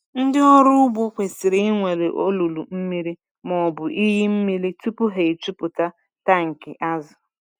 Ndị ọrụ ugbo kwesịrị ịnwale olulu mmiri ma ọ bụ iyi mmiri tupu ha ejupụta tankị azụ.